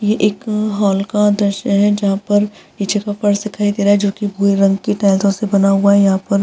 ये एक हॉल का दृश्य है जहाँ पर निचे का फर्श दिखाई दे रहा है जो की भूरे रंग की टाइलसो से बना हुआ है। यहाँ पर --